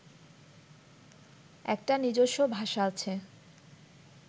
একটা নিজস্ব ভাষা আছে